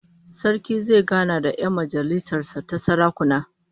Sarki zai gana da 'yan majalisar sa ta sarakuna